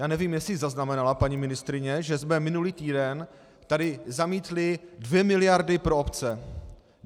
Já nevím, jestli zaznamenala paní ministryně, že jsme minulý týden tady zamítli dvě miliardy pro obce.